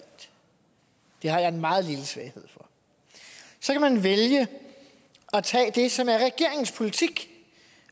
det har jeg en meget lille svaghed for så kan man vælge at tage det som er regeringens politik